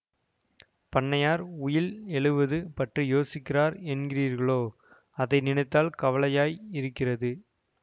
பண்ணையார் உயில் எழுவது பற்றி யோசிக்கிறார் என்கிறீர்களே அதை நினைத்தால் கவலையாயிருக்கிறது